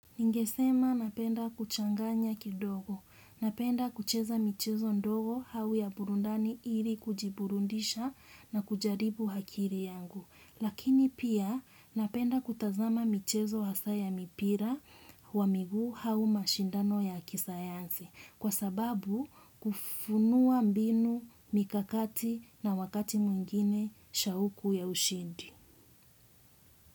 Ningesema napenda kuchanganya kidogo. Napenda kucheza michezo ndogo au ya burudani ili kujiburudisha na kujaribu akili yangu. Lakini pia napenda kutazama michezo hasa ya mipira wa miguu au mashindano ya kisayansi. Kwa sababu kufunuwa mbinu, mikakati na wakati mwingine shauku ya ushindi.